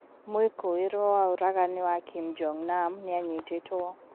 Mwikũwiruo wa ũragani wa Kim Jong nam nianyitituo